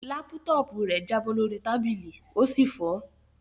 Lápútọ́ọ̀pù rẹ̀ jábọ́ lórí tábìlì ó sì fọ́.